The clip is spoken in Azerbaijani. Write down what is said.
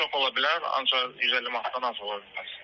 Çox ola bilər, ancaq 150 manatdan az ola bilməz.